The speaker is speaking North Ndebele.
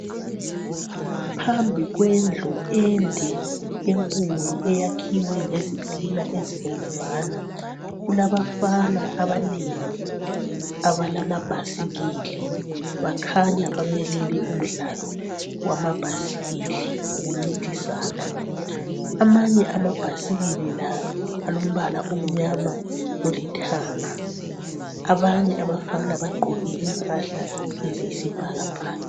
Phambi kwendlu ende enkulu eyakhiwe ngezitina ezibomvana. Kulabafana abanengi abalamabhasikili. Bakhanya bamelele umdlalo wamabhasikili, wokuncintisana. Amanye amabhasikili la alombala omnyama lolithanga. Abanye abafana bagqoke impahla eziyisibhakabhaka.